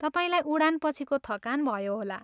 तपाईँलाई उडानपछिको थकान भयो होला।